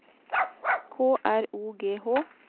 K R O G H